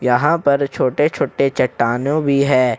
यहां पर छोटे-छोटे चट्टानों भी है।